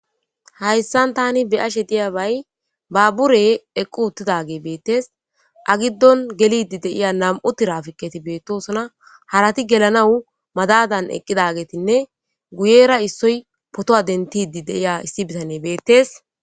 hAyssan tani be ashe diyabay baabbure eqqu uttidage beettes agiddon gelidi deiya nam7u tirafikketi beettosona harati gelanawu madadaqqidagetinne guyera issoy potowa dentidi deiya issi bitane beettes